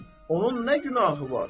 Onun nə günahı var?